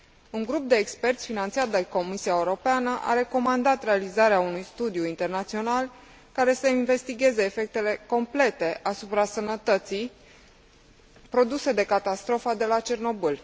Un grup de experți finanțat de Comisia Europeană a recomandat realizarea unui studiu internațional care să investigheze efectele complete asupra sănătății produse de catastrofa de la Cernobâl.